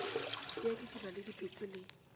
ya didiba le dipetse le